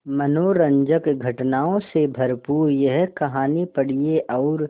मनोरंजक घटनाओं से भरपूर यह कहानी पढ़िए और